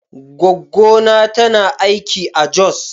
Goggona tana aiki a Jos.